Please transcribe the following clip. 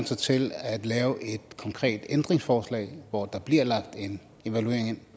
sig til at lave et konkret ændringsforslag hvor der bliver lagt en evaluering ind